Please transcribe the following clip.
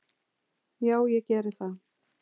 Já ég geri það.